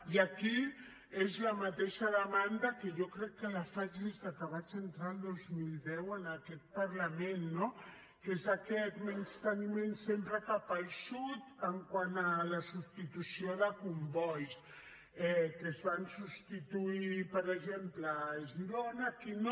i aquí és la mateixa demanda que jo crec que faig des que vaig entrar el dos mil deu a aquest parlament no que és aquest menysteniment sempre cap al sud quant a la substitució de combois que es van substituir per exemple a girona i aquí no